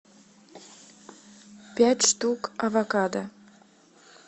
пять штук авокадо